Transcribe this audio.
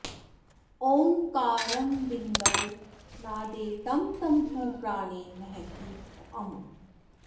ओङ्कारं बिन्दौ नादे तं तं तु प्राणे महत्यमुम्